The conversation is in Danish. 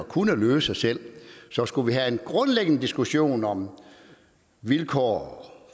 kunne løse selv så skulle vi have en grundlæggende diskussion om vilkårene